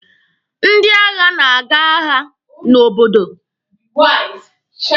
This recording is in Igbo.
Ndị agha na-aga agha n'obodo.